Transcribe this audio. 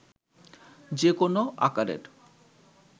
যে কোনো আকারের